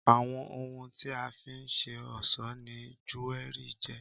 Àwọn ohun tí a fi nṣe ọ̀sọ́ ni júérì jẹ́.